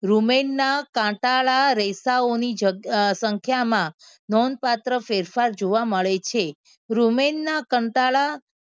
રૂમેનના કાંટાળા રેસાઓ ની જગ્યાએ સંખ્યામાં નોંધપાત્ર ફેરફાર જોવા મળે છે. રૂમેનના કંટાળા